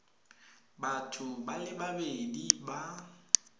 batho ba le babedi ba